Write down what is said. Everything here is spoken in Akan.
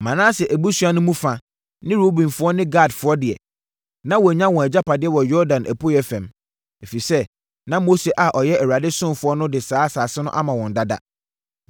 Manase abusua no mu fa ne Rubenfoɔ ne Gadfoɔ deɛ, na wɔanya wɔn agyapadeɛ wɔ Yordan apueeɛ fam, ɛfiri sɛ na Mose a ɔyɛ Awurade ɔsomfoɔ no de saa asase no ama wɔn dada.